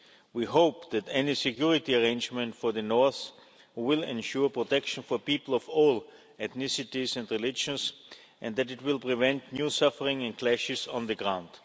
We hope that any security arrangement for the north will ensure protection for people of all ethnicities and religions, and that it will prevent new suffering and clashes on the ground.